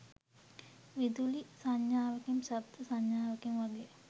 විදුලි සංඥාවකින් ශබ්ද සංඥාවකින් වගේ